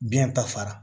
Biɲɛ ta fara